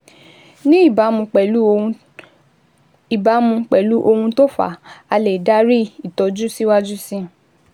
Ní ìbámu pẹ̀lú ohun ìbámu pẹ̀lú ohun tó fà á, a lè darí ìtọ́jú síwájú síi